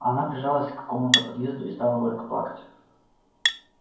она прижалась к какому-то подъезду и стала горько плакать